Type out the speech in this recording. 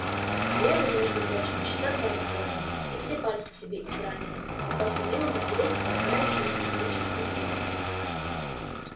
а я его между прочим часа два готовила и все пальцы себе изранила пока сумела натереть полагающееся количество сыра